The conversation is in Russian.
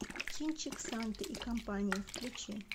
кинчик санта и компания включи